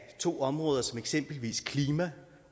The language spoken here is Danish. to områder som eksempelvis klima